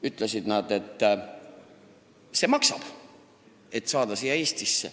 – ütlesid nad, et Eestisse saamise eest tuleb maksta.